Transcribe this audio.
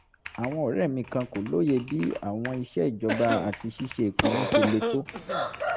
àwọn ọ̀rẹ́ mi kan kò lóye bí àwọn iṣẹ́ ìjọba àti ṣíṣe ìpinnu ṣe le tó